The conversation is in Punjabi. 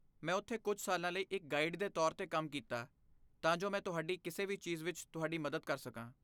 ਮੈਂ ਉੱਥੇ ਕੁਝ ਸਾਲਾਂ ਲਈ ਇੱਕ ਗਾਈਡ ਦੇ ਤੌਰ 'ਤੇ ਕੰਮ ਕੀਤਾ ਤਾਂ ਜੋ ਮੈਂ ਤੁਹਾਡੀ ਕਿਸੇ ਵੀ ਚੀਜ਼ ਵਿੱਚ ਤੁਹਾਡੀ ਮਦਦ ਕਰ ਸਕਾਂ।